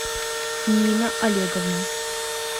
нина олеговна